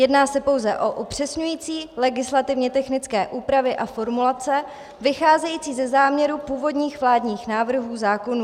Jedná se pouze o upřesňující legislativně technické úpravy a formulace vycházející ze záměru původních vládních návrhů zákonů.